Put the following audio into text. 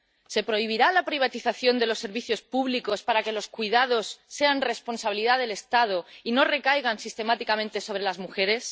¿Se prohibirá la privatización de los servicios públicos para que los cuidados sean responsabilidad del Estado y no recaigan sistemáticamente sobre las mujeres?